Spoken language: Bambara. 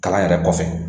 Kalan yɛrɛ kɔfɛ